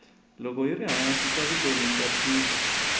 loko yiri hansi ta vutomi ta tika